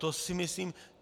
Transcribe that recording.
To si myslím...